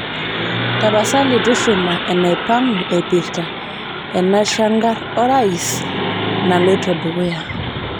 tapasali tushuma inaipang'u eipirta enchangar orais naloito dukuya